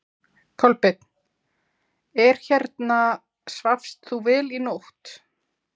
Kolbeinn: Er hérna, svafst þú vel í nótt?